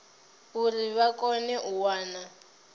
uri vha kone u wana